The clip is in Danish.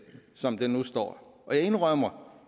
som det nu står jeg indrømmer